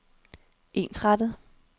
ensrettet